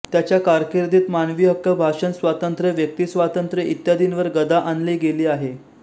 त्याच्या कारकिर्दीत मानवी हक्क भाषणस्वातंत्र्य व्यक्तीस्वातंत्र्य इत्यादींवर गदा आणली गेली आहे